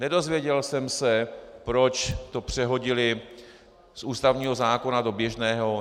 Nedozvěděl jsem se, proč to přehodili z ústavního zákona do běžného.